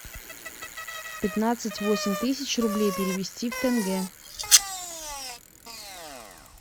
пятнадцать восемь тысяч рублей перевести в тенге